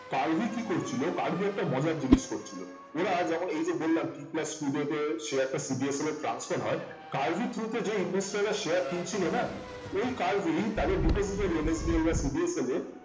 কার্ভি কি করছিল কার্ভি একটা মজার জিনিস করছিল ওরা যেমন এই যে বললাম t plus two day তে share টা CDS transfer হয় কার্ভি এর through তে যে investor রা share কিনছিল না ওই কার্ভি তাদের depositor NSDL, CDSL এ